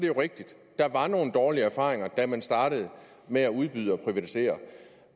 er rigtigt at der var nogle dårlige erfaringer da man startede med at udbyde og privatisere